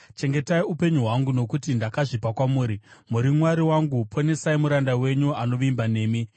Chengetai upenyu hwangu, nokuti ndakazvipa kwamuri. Muri Mwari wangu; ponesai muranda wenyu anovimba nemi.